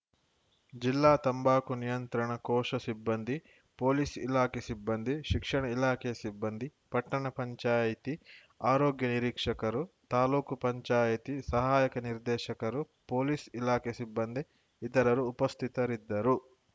ಜಿಲ್ಲಾ ತಂಬಾಕು ನಿಯಂತ್ರಣ ಕೋಶ ಸಿಬ್ಬಂದಿ ಪೊಲೀಸ್‌ ಇಲಾಖೆ ಸಿಬ್ಬಂದಿ ಶಿಕ್ಷಣ ಇಲಾಖೆಯ ಸಿಬ್ಬಂದಿ ಪಟ್ಟಣ ಪಂಚಾಯಿತಿ ಆರೋಗ್ಯ ನಿರೀಕ್ಷಕರು ತಾಲೂಕು ಪಂಚಾಯಿತಿ ಸಹಾಯಕ ನಿರ್ದೇಶಕರು ಪೊಲೀಸ್‌ ಇಲಾಖೆ ಸಿಬ್ಬಂದಿ ಇತರರು ಉಪಸ್ಥಿತರಿದ್ದರು